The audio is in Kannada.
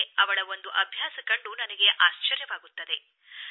ಆದರೆ ಅವಳ ಒಂದು ಅಭ್ಯಾಸ ಕಂಡು ನನಗೆ ಆಶ್ಚರ್ಯವಾಗುತ್ತದೆ